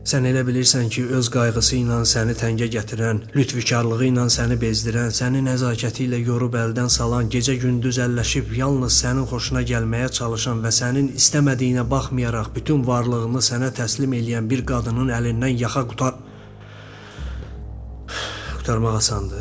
Sən elə bilirsən ki, öz qayğısı ilə səni təngə gətirən, lütfkarlığı ilə səni bezdirən, sənin nəzakəti ilə yorub əldən salan, gecə-gündüz əlləşib yalnız sənin xoşuna gəlməyə çalışan və sənin istəmədiyinə baxmayaraq bütün varlığını sənə təslim eləyən bir qadının əlindən yaxa qurtarmaq asandır?